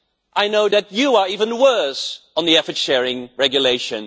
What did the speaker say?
I know that you are even worse on the effort sharing regulation.